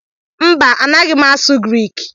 Mba, anaghị m asụ Griik